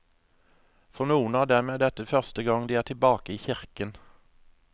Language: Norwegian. For noen av dem er dette første gang de er tilbake i kirken.